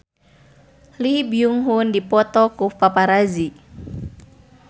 Lee Byung Hun dipoto ku paparazi